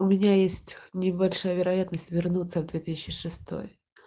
у меня есть небольшая вероятность вернуться в две тысячи шестой